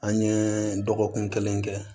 An ye dɔgɔkun kelen kɛ